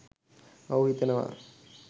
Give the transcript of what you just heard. ඔහු හිතනවා